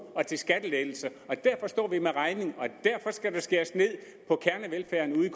og til skattelettelser og derfor står vi med regningen og derfor skal der skæres ned på kernevelfærden ude i